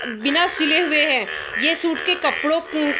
अ बिना सिले हुए हैं ये सूट के कपड़ों मम --